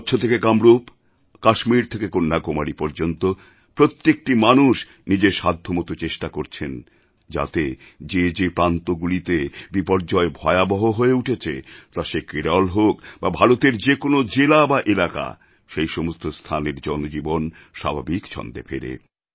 কচ্ছ থেকে কামরূপ আর কাশ্মীর থেকে কন্যাকুমারী পর্যন্ত প্রত্যেকটি মানুষ নিজের সাধ্যমতো চেষ্টা করছেন যাতে যে যে প্রান্তগুলিতে বিপর্যয় ভয়াবহ হয়ে উঠেছে তা সে কেরল হোক বা ভারতের যে কোনও জেলা বা এলাকা সেই সমস্ত স্থানের জনজীবন স্বাভাবিক ছন্দে ফেরে